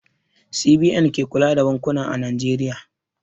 CBN ke kula da bankuna a Najeriya.